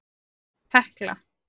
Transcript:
Hekla